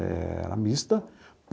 Era mista.